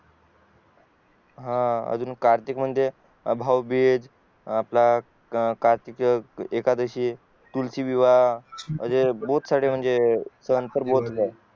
हा अजून कार्तिक म्हणजे भाऊबीज आपला कार्तिकी एकादशी तुळशी विवाह बोथ सारे म्हणजे सण